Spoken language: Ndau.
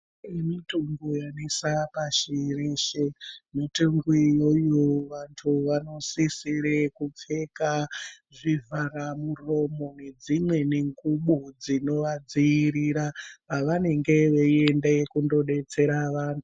Kune mitungu yanesa pashi reshe, mitungu iyoyo vantu vanosisire kupfeka zvivhara muromo nedzimweni ngubo dzinovadziyirira pavanenge veyienda kunodetsera vantu.